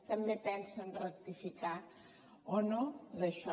també pensen rectificar o no en això